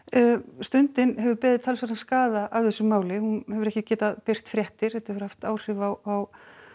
stundin hefur beðið talsverðan skaða af þessu máli hún hefur ekki getað birt fréttir þetta hefur haft áhrif á